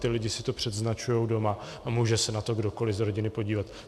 Ty lidi si to předznačujou doma a může se na to kdokoli z rodiny podívat.